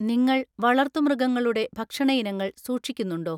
നിങ്ങൾ വളർത്തു മൃഗങ്ങളുടെ ഭക്ഷണ ഇനങ്ങൾ സൂക്ഷിക്കുന്നുണ്ടോ?